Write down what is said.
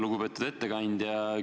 Lugupeetud ettekandja!